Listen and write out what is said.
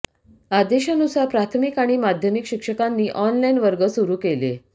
आदेशानुसार प्राथमिक आणि माध्यमिक शिक्षकांनी ऑनलाईन वर्ग सुरू केले